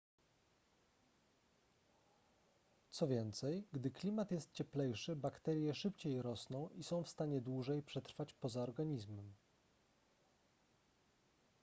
co więcej gdy klimat jest cieplejszy bakterie szybciej rosną i są w stanie dłużej przetrwać poza organizmem